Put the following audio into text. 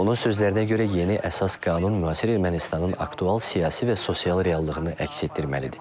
Onun sözlərinə görə yeni əsas qanun müasir Ermənistanın aktual siyasi və sosial reallığını əks etdirməlidir.